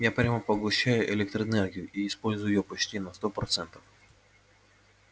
я прямо поглощаю электроэнергию и использую её почти на сто процентов